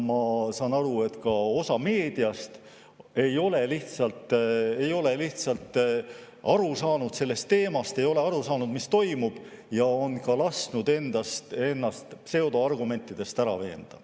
Ma saan aru, et ka osa meediast ei ole lihtsalt aru saanud sellest teemast, ei ole aru saanud, mis toimub, ja on lasknud ennast pseudoargumentidega ära veenda.